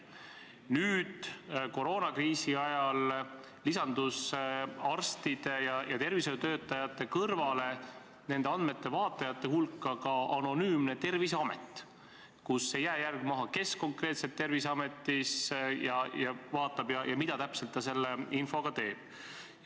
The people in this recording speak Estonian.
Nüüd koroonakriisi ajal lisandus arstide ja tervishoiutöötajate kõrval nende andmete vaatlejate hulka ka anonüümne Terviseamet, mille puhul ei jää jälge, kes konkreetselt neid andmeid vaatas ja mida täpselt ta selle infoga tegi.